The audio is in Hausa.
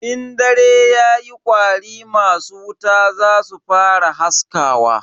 In dare yayi kwari masu wuta zasu fara haskawa.